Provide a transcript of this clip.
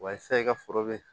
Wa sa i ka foro be